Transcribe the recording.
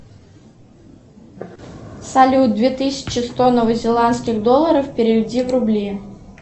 салют две тысячи сто новозеландских долларов переведи в рубли